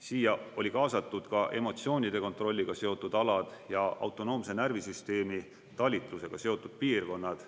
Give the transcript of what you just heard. Siia oli kaasatud ka emotsioonide kontrolliga seotud alad ja autonoomse närvisüsteemi talitlusega seotud piirkonnad.